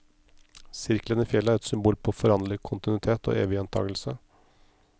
Sirkelen i fjellet er et symbol på foranderlig kontinuitet og evig gjentagelse.